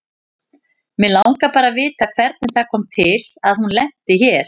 Mig langar bara að vita hvernig það kom til að hún lenti hér.